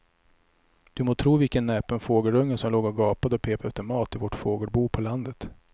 Du må tro vilken näpen fågelunge som låg och gapade och pep efter mat i vårt fågelbo på landet.